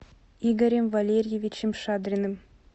игорем валерьевичем шадриным